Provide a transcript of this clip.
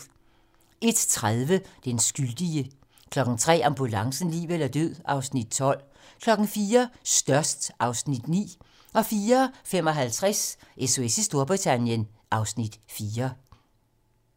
01:30: Den skyldige 03:00: Ambulancen - liv eller død (Afs. 12) 04:00: Størst (Afs. 9) 04:55: SOS i Storbritannien (Afs. 4)